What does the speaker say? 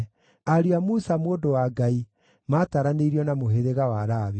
Ariũ a Musa, mũndũ wa Ngai, maataranĩirio na mũhĩrĩga wa Lawi.